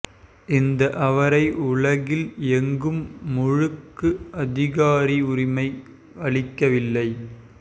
இந்த அவரை உலகில் எங்கும் முழுக்கு அதிகாரி உரிமை அளிக்கவில்லை